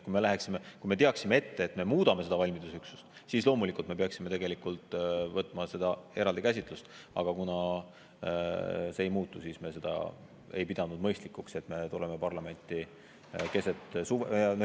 Kui me teaksime ette, et me muudame seda valmidusüksust, siis loomulikult peaksime me käsitlema seda eraldi, aga kuna see ei muutu, siis me ei pidanud mõistlikuks, et me tuleme parlamenti keset suve.